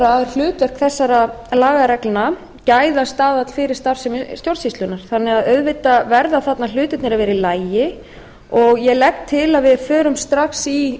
vera hlutverk þessara lagareglna gæðastaðall fyrir starfsemi stjórnsýslunnar þannig að auðvitað verða þarna hlutirnir að vera í lagi og ég legg til að við